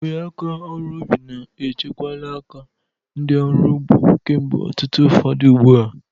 Uwe aka ọrụ ubi na echekwala aka ndị ọrụ ugbo kemgbe ọtụtụ afọ ugbu a.